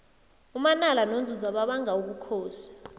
umanala nonzunza babanga ubukhosi